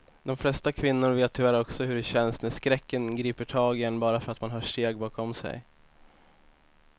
De flesta kvinnor vet tyvärr också hur det känns när skräcken griper tag i en bara för att man hör steg bakom sig.